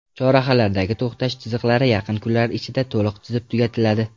Chorrahalardagi to‘xtash chiziqlari yaqin kunlar ichida to‘liq chizib tugatiladi.